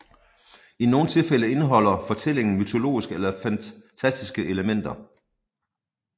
I nogle tilfælde indeholder fortællingen mytologiske eller fantastiske elementer